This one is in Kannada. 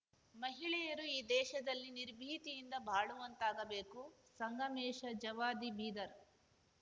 ಮಹಿಳೆಯರು ಈ ದೇಶದಲ್ಲಿ ನಿರ್ಭೀತಿಯಿಂದ ಬಾಳುವಂತಾಗಬೇಕು ಸಂಗಮೇಶ ಜವಾದಿಬೀದರ್